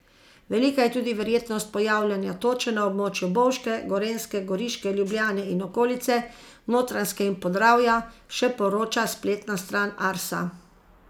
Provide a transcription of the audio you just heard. Velika je tudi verjetnost pojavljanja toče na območju Bovške, Gorenjske, Goriške, Ljubljane in okolice, Notranjske in Podravja, še poroča spletna stran Arsa.